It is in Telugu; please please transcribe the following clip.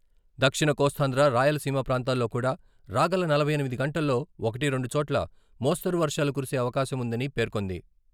దక్షిణ కోస్తాంధ్ర, రాయలసీమ ప్రాంతాల్లో కూడా... రాగల నలభై ఎనిమిది గంటల్లో ఒకటి, రెండు చోట్ల మోస్తరు వర్షాలు కురిసే అవకాశం వుందని పేర్కొంది.